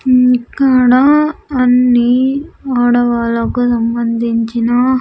ఇక్కడ అన్నీ ఆడవాళ్లకు సంబందించిన.